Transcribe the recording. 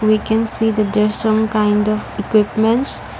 we can see that there some kind of equipments.